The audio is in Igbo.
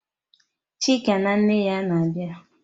Chika na nne ya na-abịa?